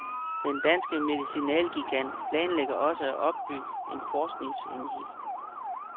Den danske medicinalgigant planlægger også at opbygge en forskningsenhed.